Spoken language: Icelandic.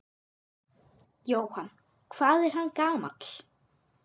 Jóhann: Hvað er hann gamall?